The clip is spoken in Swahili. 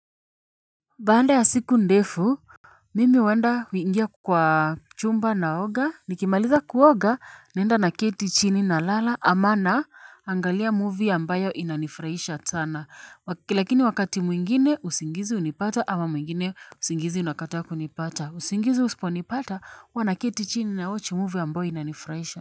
Baada ya siku ndefu mimi huenda huingia kwa chumba naoga nikimaliza kuoga naenda naketi chini nalala ama naangalia movie ambayo inanifurahisha sana lakini wakati mwingine usingizi hunipata ama mwingine usingizi unakata kunipata usingizi husiponipata huwa naketi chini nawochi movie ambayo inanifurahisha.